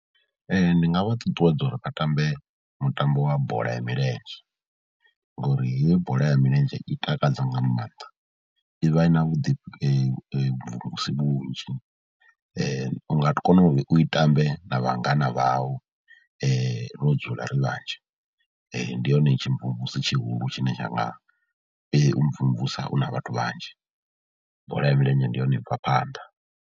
Ndi nga vha ṱuṱuwedza uri vha tambe mutambo wa bola ya milenzhe ngori heyi bola ya milenzhe i takadza nga maanḓa, i vha i na vhuḓi mvumvusi vhunzhi u nga kona u i tambe na vhangana vhau ro dzula ri vhanzhi, ndi yone tshimvumvusi tshihulu tshine tsha nga u mvumvusa u na vhathu vhanzhi, bola ya milenzhe ndi yone i bva phanḓa.